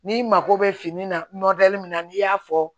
N'i mako bɛ fini na min na n'i y'a fɔ